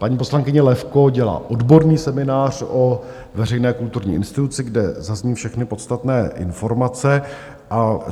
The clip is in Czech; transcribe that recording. Paní poslankyně Levko dělá odborný seminář o veřejné kulturní instituci, kde zazní všechny podstatné informace.